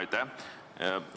Aitäh!